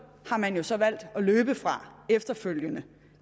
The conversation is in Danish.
har man jo så valgt at løbe fra efterfølgende